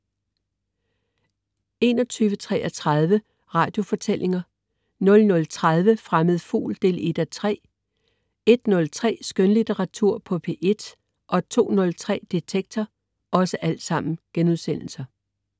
21.33 Radiofortællinger* 00.30 Fremmed Fugl 1:3* 01.03 Skønlitteratur på P1* 02.03 Detektor*